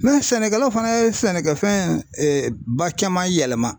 sɛnɛkɛlaw fana ye sɛnɛkɛfɛn ba caman yɛlɛma.